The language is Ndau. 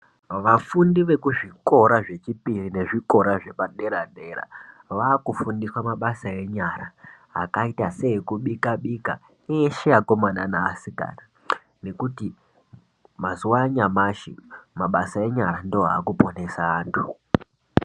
Vafundi vekuzvikora zvechipiri nezvikora zvepadera-dera vaakufundiswa mabasa enyara akaita seekubika-bika eshe vakomana neasikana nekuti mazuwa anyamashi mabasa enyara ndiwo aakuponesa anhu.